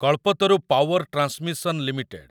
Kalpataru power transmission limited